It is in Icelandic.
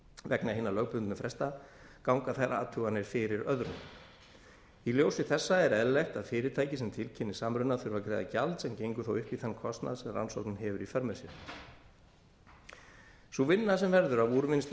vegna hinna lögbundnu fresta ganga þær athuganir fyrir öðrum í ljósi þessa er eðlilegt að fyrirtæki sem tilkynnir samruna þurfi að greiða gjald sem gengur þá upp í þann kostnað sem rannsóknin hefur í för með sér sú vinna sem verður af úrvinnslu